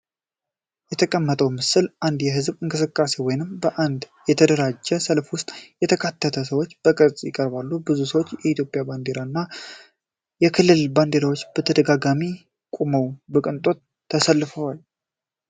የተቀመጠው ምስል በአንድ የህዝብ እንቅስቃሴ ወይም በአንድ የተደራጀ ሰልፍ ውስጥ የተካተቱ ሰዎችን በቅርጽ ያቀርባል። ብዙ ሰዎች በኢትዮጵያ ባንዲራ እና በክልላዊ ባንዲራዎች ተደጋጋሚ ቆመው በቅንጣት ተሳትፈዋል።